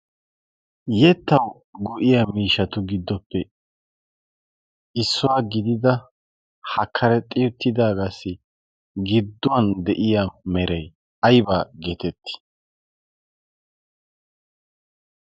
yettawu go'iya miishatu giddoppe issuwaa gidida ha karaxxiy uttidaagaassi gidduwan de'iya merai aybaa geetettii?